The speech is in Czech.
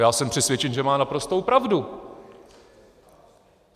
Já jsem přesvědčen, že má naprostou pravdu.